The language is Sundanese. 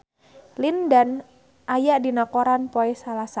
Lin Dan aya dina koran poe Salasa